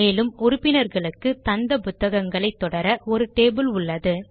மேலும் உறுப்பினர்களுக்கு தந்த புத்தகங்களை தொடர ஒரு டேபிள் உள்ளது